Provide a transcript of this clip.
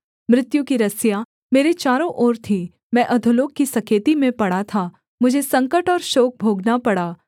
मृत्यु की रस्सियाँ मेरे चारों ओर थीं मैं अधोलोक की सकेती में पड़ा था मुझे संकट और शोक भोगना पड़ा